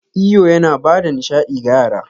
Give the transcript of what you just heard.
Iyo yana ba da nishaɗi ga yara.